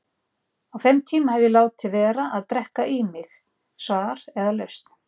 Á þeim tíma hef ég látið vera að drekka í mig svar eða lausn.